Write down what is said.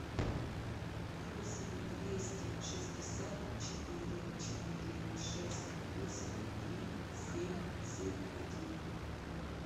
восемь двести шестьдесят четыре четыре шесть восемь три семь семь один